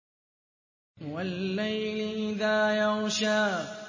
وَاللَّيْلِ إِذَا يَغْشَىٰ